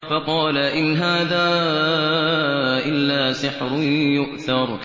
فَقَالَ إِنْ هَٰذَا إِلَّا سِحْرٌ يُؤْثَرُ